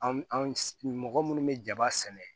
An an mɔgɔ munnu be jaba sɛnɛ